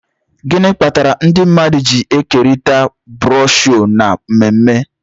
gịnị kpatara ndị mmadụ ji ekerịta broshuọ na mmemme